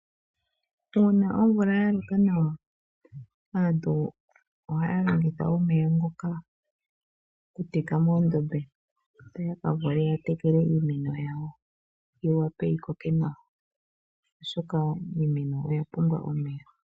Uuna omvula ya loka nawa aantu ohaya longitha omeya ngoka oku teka moondombe opo ya vule ya ka tekele iimeno yawo, yi wape yi koke nawa, oshoka iimeno oya pumbwa omeya.